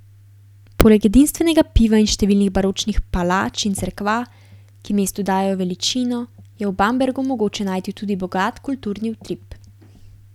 Poleg edinstvenega piva in številnih baročnih palač in cerkva, ki mestu dajejo veličino, je v Bambergu mogoče najti tudi bogat kulturni utrip.